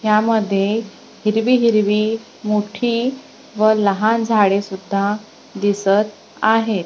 यामध्ये हिरवी हिरवी मोठी व लहान झाडेसुद्धा दिसत आहेत.